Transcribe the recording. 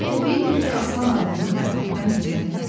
Təbidir ki, Aslan arvadını Fərhaddan gizlətməzdi.